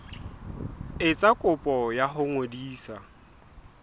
etsa kopo ya ho ngodisa